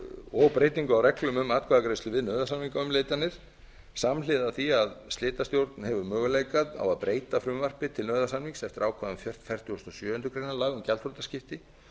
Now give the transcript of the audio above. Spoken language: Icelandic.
og breytingu á reglum um atkvæðagreiðslu við nauðasamningaumleitanir samhliða því að slitastjórn hefur möguleika á að breyta frumvarpi til nauðasamnings eftir ákvæðum fertugasta og sjöundu grein laga um gjaldþrotaskipti